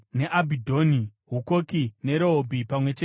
Hukoki neRehobhi pamwe chete namafuro awo;